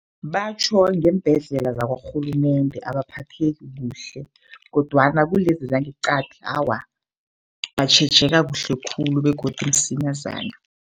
Batjho ngeembhedlela zakwarhulumende abaphatheki kuhle, kodwana kulezi zangeqadi awa batjhejeka kuhle khulu begodu msinyazana.